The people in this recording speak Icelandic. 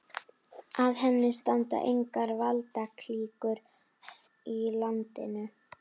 Að henni standa engar valdaklíkur í landinu.